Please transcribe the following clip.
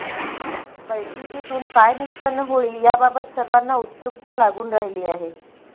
बैठकीतून काय निष्पन्न होईल याबाबत सर्वांना उत्सुकता लागून राहिली आहे